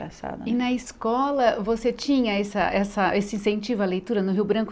Na sala E na escola você tinha essa essa esse incentivo à leitura no Rio Branco?